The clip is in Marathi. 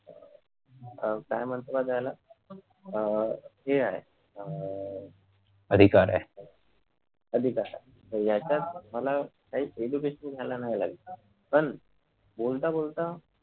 अह काय म्हणता त्याला अह हे आहे अह ते आहे अधिकार आहेत अधिकार आहे यांच्यात मला काहीच education घ्यायला नाही लागत पण बोलता बोलता